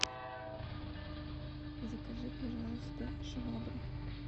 закажи пожалуйста швабру